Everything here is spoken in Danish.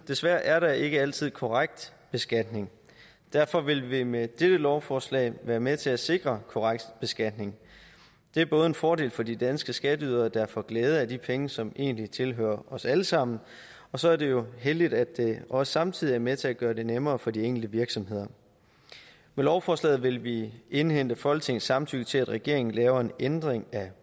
desværre er der ikke altid korrekt beskatning og derfor vil vi med dette lovforslag være med til at sikre korrekt beskatning det er både en fordel for de danske skatteydere der får glæde af de penge som egentlig tilhører os alle sammen og så er det jo heldigt at det også samtidig er med til at gøre det nemmere for de enkelte virksomheder med lovforslaget vil vi indhente folketingets samtykke til at regeringen laver en ændring af